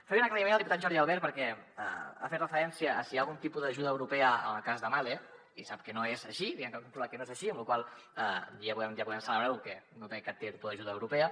faré un aclariment al diputat jordi albert perquè ha fet referència a si hi ha algun tipus d’ajuda europea en el cas de mahle i sap que no és així diguem ne que hem comprovat que no és així amb la qual cosa ja podem celebrar ho que no tenim cap tipus d’ajuda europea